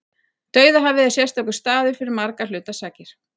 Dauðahafið er sérstakur staður fyrir margra hluta sakir.